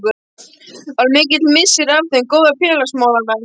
Var mikill missir að þeim góða félagsmálamanni.